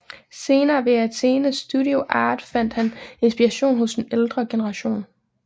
Senere ved Athénée Studio Art fandt han inspiration hos den ældre generation